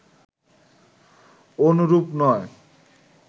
অনুরূপ নয়